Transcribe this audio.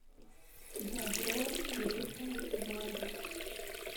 дабро выдыхай воздух